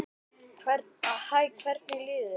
Hæ, hvernig líður þér?